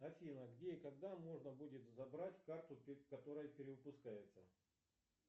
афина где и когда можно будет забрать карту которая перевыпускается